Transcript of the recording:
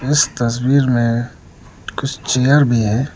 इस तस्वीर में कुछ चेयर भी है।